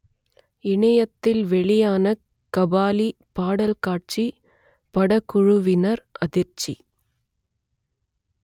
இணையத்தில் வெளியான கபாலி பாடல் காட்சி படக்குழுவினர் அதிர்ச்சி